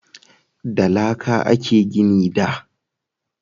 Da laƙa a a ke gini da